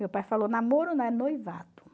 Meu pai falou, namoro não é noivado.